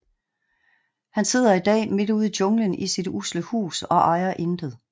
Han sidder i dag midt ude i junglen i sit usle hus og ejer intet